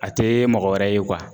A tɛ mɔgɔ wɛrɛ ye